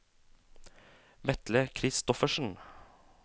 Vetle Christoffersen